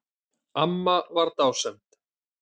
Amma var dásemd.